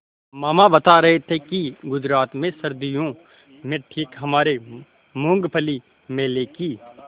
मामा बता रहे थे कि गुजरात में सर्दियों में ठीक हमारे मूँगफली मेले की